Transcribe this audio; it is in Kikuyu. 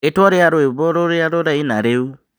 rĩĩtwa rĩa rwĩmbo rũrĩa rũraina rĩu